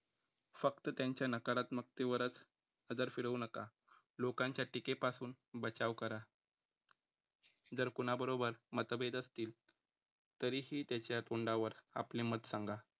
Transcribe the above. फक्त त्यांच्या नकारात्मकतेवरच पदर फिरवू नका लोकांच्या टिके पासून बचाव करा. जर कुणाबरोबर मतभेद असतील, तरीही त्याच्या तोंडावर आपले मत सांगा.